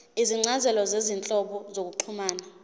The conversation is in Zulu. izincazelo zezinhlobo zokuxhumana